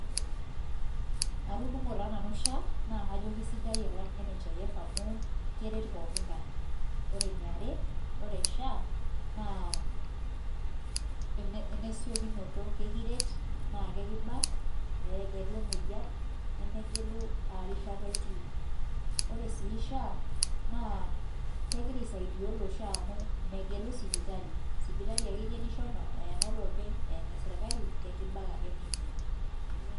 atudungo taa nanu SHA naa kajo kesidai alanh NHIF amo keret pooki ngae koree eniare naa koree SHA ene siokinoto kekiret naa kekibak meleku emwoyian nemegelu ajoo karishata itii koree siii SHA kegiraaa aisaidia iltunganak amu megelu sipitalii ahh enoo lopeny.